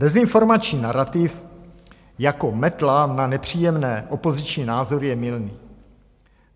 Dezinformační narativ jako metla na nepříjemné opoziční názory je mylný.